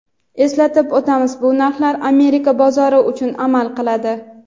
Eslatib o‘tamiz bu narxlar Amerika bozori uchun amal qiladi.